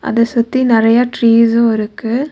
அத சுத்தி நெறையா ட்ரீஸ்ஸு இருக்கு.